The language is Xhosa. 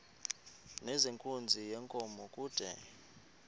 nezenkunzi yenkomo kude